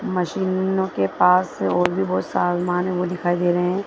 मशीनो के पास और भी बहोत सामान है वो भी दिखाई दे रहे हैं।